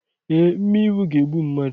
Ee, mmịnwụ ga-egbu mmadụ.